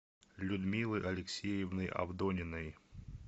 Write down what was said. людмилы алексеевны авдониной